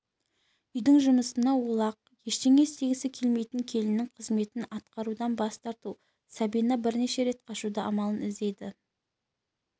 үйдің жұмысына олақ ештеңе істегісі келмейтін келіннің қызметін атқарудан бас тартқан сабина бірнеше рет қашудың амалын іздейді